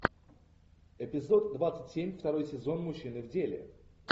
эпизод двадцать семь второй сезон мужчины в деле